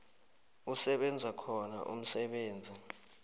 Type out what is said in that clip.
kusebenza khona umsebenzi